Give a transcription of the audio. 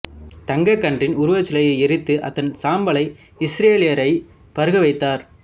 தங்கக் கன்றின் உருவச்சிலையை எரித்து அதன் சாம்பலை இஸ்ரேலியரை பருக வைத்தார்